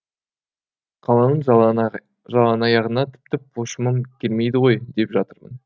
қаланың жалаңаяғына тіпті пошымым келмейді ғой деп жатырмын